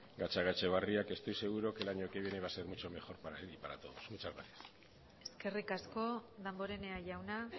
gatzagaetxebarria que estoy seguro que el año que viene va a ser mucho mejor para él y para todos muchas gracias eskerrik asko damborenea jauna